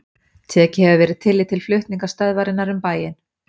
Tekið hefur verið tillit til flutninga stöðvarinnar um bæinn.